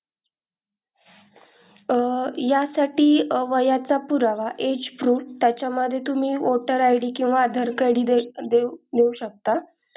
अह यासाठी वयाचा पुरावा age proof त्याचा मध्ये तुम्ही voter id किंवा aadhaar card देऊ शकता.